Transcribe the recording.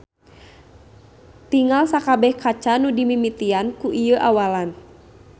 Tingal sakabeh kaca nu dimimitian ku ieu awalan.